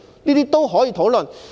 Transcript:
這些均可以討論。